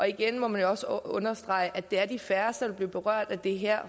igen må man jo også understrege at det er de færreste der vil blive berørt af det her